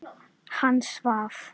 Hann svaf.